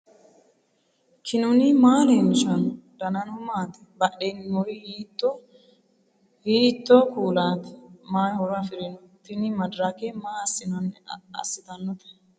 knuni maa leellishanno ? danano maati ? badheenni noori hiitto kuulaati ? mayi horo afirino ? tini madirake maa assitannote